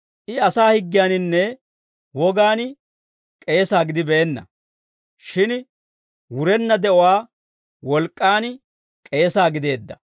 I asaa higgiyaaninne wogaan k'eesa gidibeenna; shin wurenna de'uwaa wolk'k'aan k'eesa gideedda.